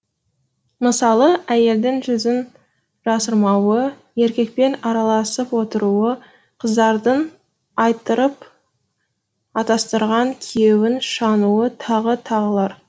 мысалы әйелдің жүзін жасырмауы еркекпен араласып отыруы қыздардың айттырып атастырған күйеуін шануы тағы тағылар